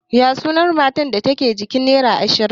Ya sunan matar da ke jikin nera ashirin?